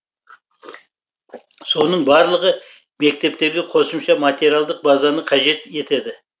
соның барлығы мектептерге қосымша материалдық базаны қажет етеді